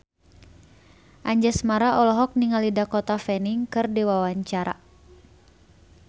Anjasmara olohok ningali Dakota Fanning keur diwawancara